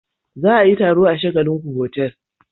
Za a yi taro a shagallinku hotel.